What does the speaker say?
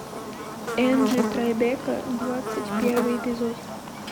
энджи трайбека двадцать первый эпизод